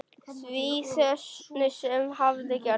Því sem hafði gerst.